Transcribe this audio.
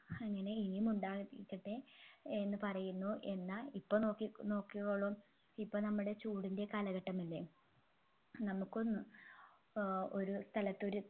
അങ്ങനെ ഇനിയും ഉണ്ടാകാതിരിക്കട്ടെ എന്ന് പറയുന്നു എന്ന ഇപ്പോ നോക്കി നോക്കിക്കോളൂ ഇപ്പൊ നമ്മുടെ ചൂടിൻെറ കാലഘട്ടമല്ലേ നമ്മുക്കൊന്ന് ഏർ ഒരു സ്ഥലത്ത് ഒരു